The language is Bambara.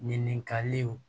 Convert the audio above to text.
Ninkali